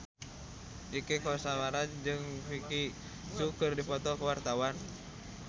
Inneke Koesherawati jeung Vicki Zao keur dipoto ku wartawan